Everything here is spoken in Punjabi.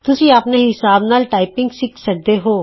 ਤੁਸੀਂ ਆਪਣੇ ਹਿਸਾਬ ਨਾਲ ਟਾਈਪਿੰਗ ਸਿਖ ਸਕਦੇ ਹੋ